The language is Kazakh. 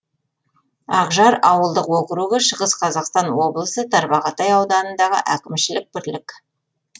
ақжар ауылдық округі шығыс қазақстан облысы тарбағатай ауданындағы әкімшілік бірлік